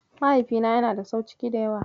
Mahaifina yana da sau ciki da yawa.